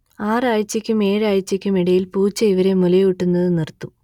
ആറ് ആഴ്ചയ്ക്കും ഏഴ് ആഴ്ചയ്ക്കും ഇടയിൽ പൂച്ച ഇവരെ മുലയൂട്ടുന്നത് നിർത്തും